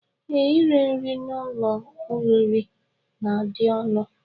Ee, iri nri n'ụlọoriri na-adị ọnụ